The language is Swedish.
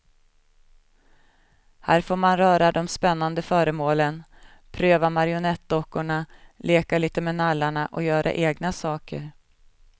Här får man röra de spännande föremålen, pröva marionettdockorna, leka lite med nallarna och göra egna saker.